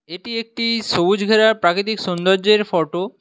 এটি একটি সবুজ ঘেরা প্রাকৃতিক সৌন্দর্যের ফটো ।